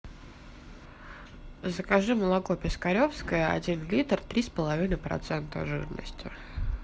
закажи молоко пискаревское один литр три с половиной процента жирности